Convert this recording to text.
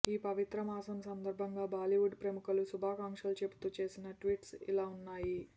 ఈ పవిత్ర మాసం సందర్భంగా బాలీవుడ్ ప్రముఖులు శుభాకాంక్షలు చెబుతూ చేసిన ట్వీట్స్ ఇలా వున్నాయి